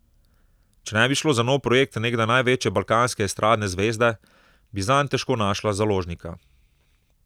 Če ne bi šlo za nov projekt nekdaj največje balkanske estradne zvezde, bi zanj težko našla založnika.